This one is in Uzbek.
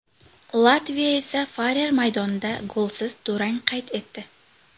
Latviya esa Farer maydonida golsiz durang qayd etdi.